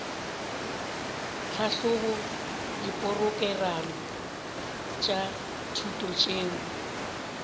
tlhahloba diporokerama tša thuto tšeo